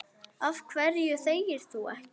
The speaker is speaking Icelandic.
Af hverju þegir þú ekki?